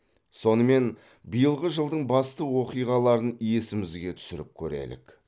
сонымен биылғы жылдың басты оқиғаларын есімізге түсіріп көрелік